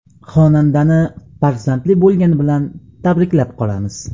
Xonandani farzandli bo‘lgani bilan tabriklab qolamiz.